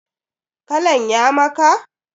Kalan ya maka?